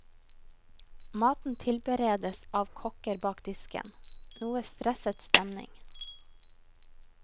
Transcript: Maten tilberedes av kokker bak disken, noe stresset stemning.